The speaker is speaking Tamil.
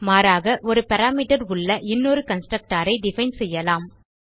மாறாக ஒரு பாராமீட்டர் உள்ள இன்னொரு constructorஐ டிஃபைன் செய்யலாம்